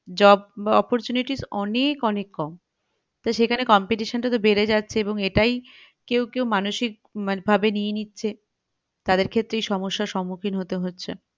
Job opportunities অনেক অনেক কম তো সেখানে competition টা তো বেড়ে যাচ্ছে এবং এটাই কেউ কেউ মানসিক ভাবে নিয়ে নিচ্ছে তাদের ক্ষেত্রেই সমস্যার সুম্মুখিন হতে হচ্ছে